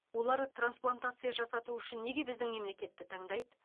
олар трансплантация жасату үшін неге біздің мемлекетті таңдайды